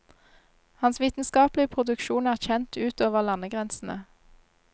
Hans vitenskapelige produksjon er kjent ut over landegrensene.